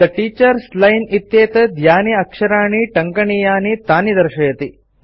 थे teachers line इत्येतत् यानि अक्षराणि टङ्कनीयानि तानि दर्शयति